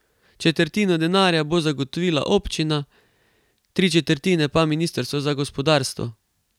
Četrtino denarja bo zagotovila občina, tri četrtine pa ministrstvo za gospodarstvo.